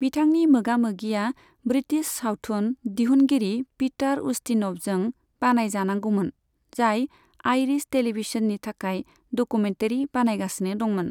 बिथांनि मोगा मोगिआ ब्रिटिश साउथुन दिहनगिरि पीटार उस्तिन'वजों बानायजानांगौमोन, जाय आइरिश टेलीभिजननि थाखाय डकुमेन्टारि बानायगासिनो दंमोन।